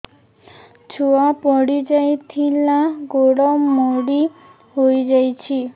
ଛୁଆ ପଡିଯାଇଥିଲା ଗୋଡ ମୋଡ଼ି ହୋଇଯାଇଛି